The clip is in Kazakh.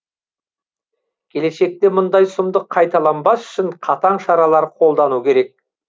келешекте мұндай сұмдық қайталанбас үшін қатаң шаралар қолдану керек